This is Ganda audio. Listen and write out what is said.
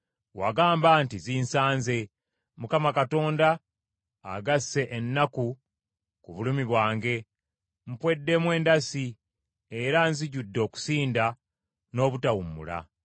Wagamba nti, ‘Zinsanze. Mukama Katonda agasse ennaku ku bulumi bwange; mpweddemu endasi era zijjudde okusinda n’obutawummula.’ ”